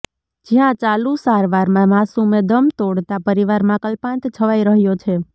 જયાં ચાલુ સારવારમાં માસુમે દમ તોડતા પરિવારમાં કલ્પાંત છવાઇ રહ્યો છે